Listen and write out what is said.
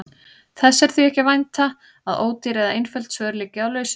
Þess er því ekki að vænta að ódýr eða einföld svör liggi á lausu.